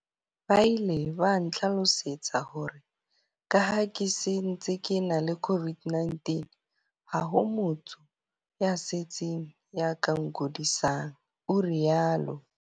Ba ile ba ntlhalosetsa hore ka ha ke se ntse ke ena le COVID-19, ha ho motho ya setsing ya ka nkudisang, o rialo.